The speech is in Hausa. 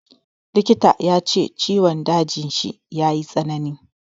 Likita ya ce ciwon dajin shi ya yi tsanani.